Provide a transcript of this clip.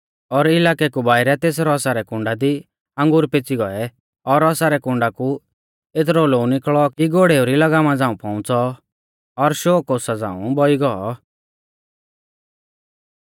और इलाकै कु बाइरै तेस रौसा रै कुण्डा दी अंगूर फैंच़ी गौऐ और रौसा रै कुण्डा कु एतरौ लोऊ निकल़ौ कि घोड़ेऊ री लगामा झ़ांऊ पौउंच़ौ और शौ कोसा झ़ांऊ बौई गौ